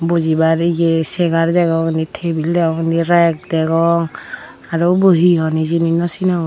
bujibar ye chegar degong indi tebil degong indi reg degong aro ubo he hon hijeni no sinongor.